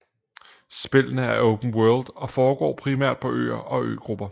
Spillene er open world og foregår primært på øer og øgrupper